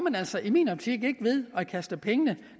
altså i min optik ikke ved at kaste pengene